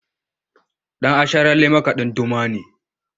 Dan’asharalle makadin Duma ne.